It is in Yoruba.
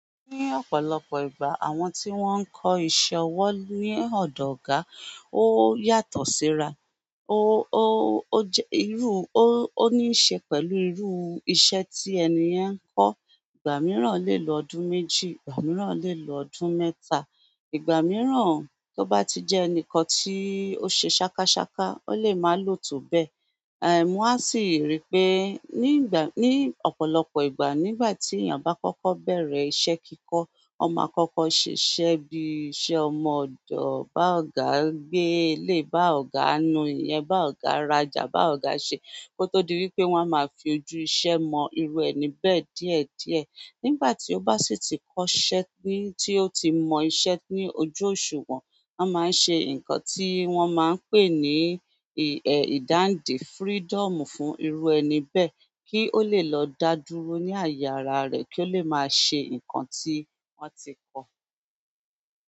Ni ọ̀pọ̀lọpọ̀ ìgbà àwọn ti won n kọ iṣẹ́ owo lodo ọ̀gá, won yàtọ̀ si ra. Ó, ó, ó jẹ irú, ó ní í ṣe pẹ̀lú irú iṣẹ́ tí ènìyen ń kọ́. Ìgbà mìíràn lè lọ ọdún méjì, ìgbà mìíràn lè lọ ọdún mẹ́ta. Ìgbà miran to ba ti je enikan ti o se sakasaka, o le ma lo to be won à sì rí pé ní ìgbà, ní ọ̀pọ̀lọpọ̀ ìgbà nígbà tí ènìyàn bá kọ́kọ́ bẹ̀rẹ̀ iṣẹ́ kíkọ, ọmọ kọ́kọ́ ṣiṣẹ́ bí iṣẹ́ ọmọ ọ̀dọ̀, bá ọ̀gá gbé ilé, bá ọ̀gá nu ìyẹn, bá ọ̀gá rajà, bá ọ̀gá ṣe. Kótó di wípé wọ́n á máa fi ojú iṣẹ́ mọ irú ẹni bẹ́ẹ̀ díẹ̀díẹ̀. Nígbà tí ó bá sì ti kọ́ṣẹ́ ní, tí ó ti mọ iṣẹ́ ní ojú òṣùwọ̀n, wọ́n máa ń ṣe nǹkan tí wọ́n máa ń pè ní, ẹ́, ìdáǹdè freedom fún irú ẹni bẹ́ẹ̀, kí ó lè lọ dá dúró ní àyè ara rẹ̀ kí ó lè máa ṣe nǹkan tí wọ́n ti kọ́ ọ.